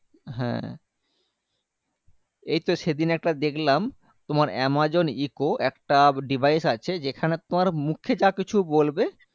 হ্যাঁ এইতো সেদিন একটা দেখলাম তোমার amazon eco একটা device আছে যেখানে তোমার মুখে যাকিছু বলবে